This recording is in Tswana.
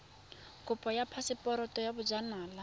kopo ya phaseporoto ya bojanala